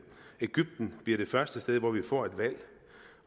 egypten bliver det første sted hvor vi får et valg